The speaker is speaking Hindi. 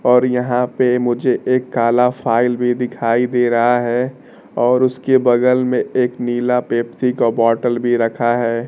और यहां पे मुझे एक काला फाइल भी दिखाई दे रहा है और उसके बगल में एक नीला पेप्सी का बॉटल भी रखा है।